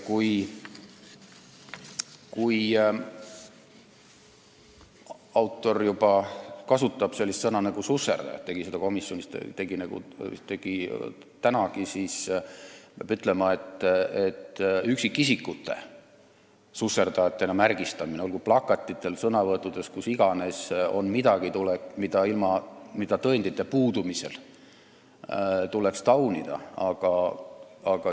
Kui autor kasutab juba sellist sõna nagu "susserdajad" – ta tegi seda komisjonis ja täna siingi –, siis peab ütlema, et üksikisikute märgistamine susserdajatena, olgu plakatitel, sõnavõttudes või kus iganes, on midagi, mida tuleks tõendite puudumisel taunida.